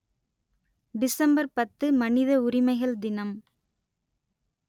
December பத்து மனித உரிமைகள் தினம்